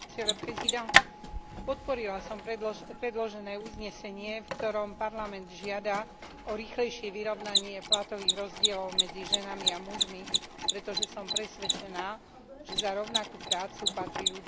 Podporila som predložené uznesenie, v ktorom Parlament žiada o rýchlejšie vyrovnanie platových rozdielov medzi ženami a mužmi, pretože som presvedčená, že za rovnakú prácu patrí ľuďom rovnaká odmena.